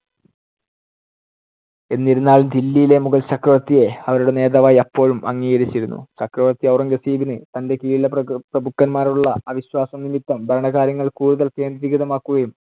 എന്നിരുന്നാലും ദില്ലിയിലെ മുഗൾ ചക്രവർത്തിയെ അവരുടെ നേതാവായി അപ്പോഴും അംഗീകരിച്ചിരുന്നു. ചക്രവർത്തി ഔറംഗസേബിന് തന്‍ടെ കിഴിലുള്ള പ്രഗു~ പ്രഭുക്കന്മാരോടുള്ള അവിശ്വാസം നിമിത്തം ഭരണകാര്യങ്ങൾ കൂടുതൽ കേന്ദ്രീകൃതമാക്കുകയും